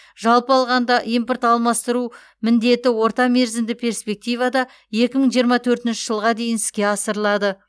жалпы алғанда импорт алмастыру міндеті орта мерзімді перспективада екі мың жиырма төртінші жылға дейін іске асырылады